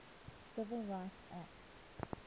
civil rights act